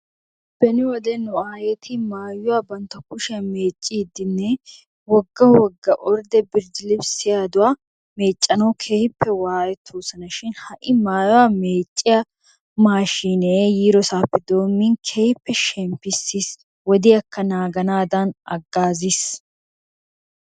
Beni wode nu aayeti maayuwa bantta kushiyan meecciiddinne wogga wogga ordde birdilibisiyaduwa meeccanawu keehippe waayetoosona shin ha"i maayuwa meecciya maashiinee yiidoosappe doommin keehippe shemppissis. Wodiyaakka naaganaadan aggaaziis.